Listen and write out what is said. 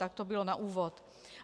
Tak to bylo na úvod.